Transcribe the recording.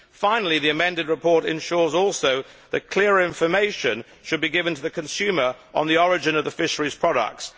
Finally the amended report also ensures that clearer information should be given to the consumer on the origin of the fisheries products.